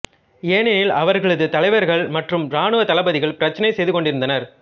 ஏனெனில் அவர்களது தலைவர்கள் மற்றும் ராணுவ தளபதிகள் பிரச்சினை செய்து கொண்டிருந்தனர்